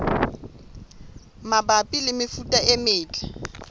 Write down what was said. mabapi le mefuta e metle